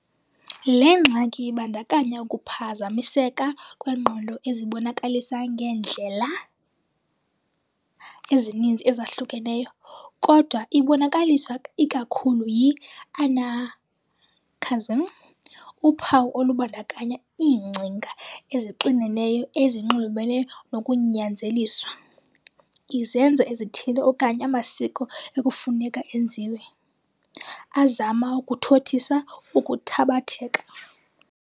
Le ngxaki ibandakanya ukuphazamiseka kwengqondo ezibonakalisa ngeendlela ezininzi ezahlukeneyo, kodwa ibonakaliswa ikakhulu yi-anancasm, uphawu olubandakanya iingcinga ezixineneyo ezinxulumene nokunyanzeliswa, izenzo ezithile okanye amasiko ekufuneka enziwe, azama ukuthothisa ukuthabatheka.